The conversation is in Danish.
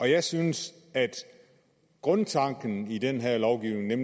jeg synes at grundtanken i den her lovgivning er